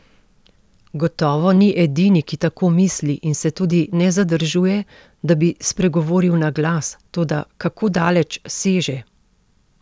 Gotovo ni edini, ki tako misli in se tudi ne zadržuje, da bi spregovoril na glas, toda kako daleč seže?